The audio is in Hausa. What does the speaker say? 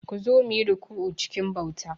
Ku zo, mu yi ruku'u cikin bauta.